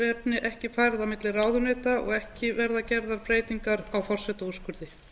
málefni ekki færð á milli ráðuneyta og ekki verða gerðar breytingar á forsetaúrskurði